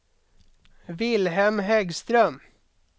Vilhelm Häggström